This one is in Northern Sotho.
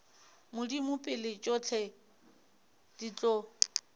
modimo pele tšohle di tlo